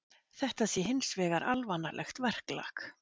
Þetta sé hins vegar alvanalegt verklag